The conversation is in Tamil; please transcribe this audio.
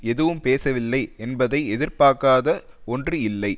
எதுவும் பேசவில்லை என்பதை எதிர்பார்க்காத ஒன்று இல்லை